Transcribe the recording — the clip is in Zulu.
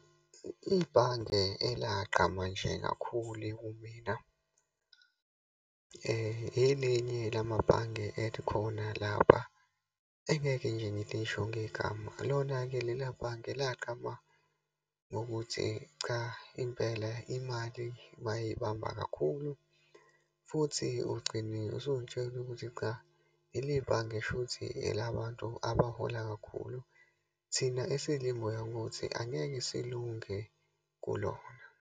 Ibhange elagqama nje kakhulu kumina, elenye lamabhange elikhona lapha, engeke nje ngilisho ngegama. Lona-ke lela bhange lagqama ngokuthi cha, impela imali bayibamba kakhulu futhi ugcine usuyitshela ukuthi cha leli bhange shuthi elabantu abahola kakhulu. Thina esilibuka ukuthi angeke silunge kulona.